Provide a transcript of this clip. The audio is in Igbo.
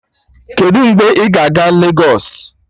Kedụ mgbe ị ga-eje Legos?